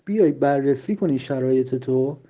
борис акунин